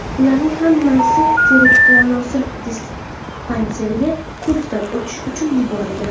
Ularning hammasi teri-tanosil dispanseriga ko‘rikdan o‘tish uchun yuborilgan.